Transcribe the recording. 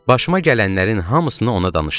Başıma gələnlərin hamısını ona danışdım.